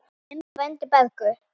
Þinn frændi, Bergur.